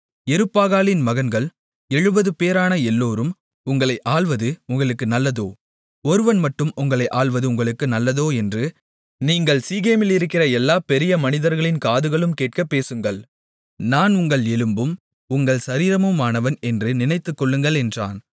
யெருபாகாலின் மகன்கள் 70 பேரான எல்லோரும் உங்களை ஆள்வது உங்களுக்கு நல்லதோ ஒருவன் மட்டும் உங்களை ஆள்வது உங்களுக்கு நல்லதோ என்று நீங்கள் சீகேமிலிருக்கிற எல்லா பெரிய மனிதர்களின் காதுகளும் கேட்கப்பேசுங்கள் நான் உங்கள் எலும்பும் உங்கள் சரீரமுமானவன் என்று நினைத்துக் கொள்ளுங்கள் என்றான்